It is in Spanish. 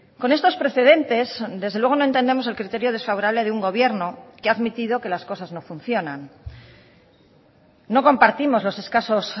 con estos precedentes desde luego no entendemos el criterio desfavorable de un gobierno que ha admitido que las cosas no funcionan no compartimos los escasos